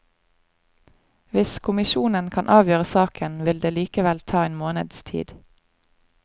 Hvis kommisjonen kan avgjøre saken, vil det likevel ta en måneds tid.